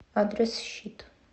адрес щит